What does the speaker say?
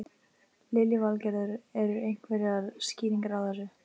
Lillý Valgerður: Eru einhverjar skýringar á þessu?